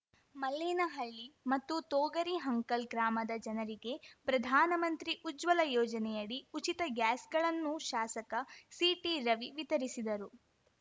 ಮಲ್ಲೇನಹಳ್ಳಿ ಮತ್ತು ತೋಗರಿ ಹಂಕಲ್‌ ಗ್ರಾಮದ ಜನರಿಗೆ ಪ್ರಧಾನ ಮಂತ್ರಿ ಉಜ್ವಲ ಯೋಜನೆಯಡಿ ಉಚಿತ ಗ್ಯಾಸ್‌ಗಳನ್ನು ಶಾಸಕ ಸಿಟಿ ರವಿ ವಿತರಿಸಿದರು